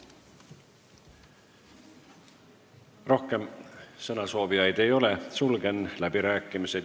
Rohkem sõnasoovijaid ei ole, sulgen läbirääkimised.